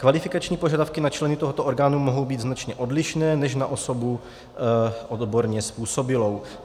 Kvalifikační požadavky na členy tohoto orgánu mohou být značně odlišné než na osobu odborně způsobilou.